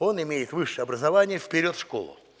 он имеет высшее образование в перёд в школу